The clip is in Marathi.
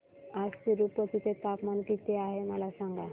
आज तिरूपती चे तापमान किती आहे मला सांगा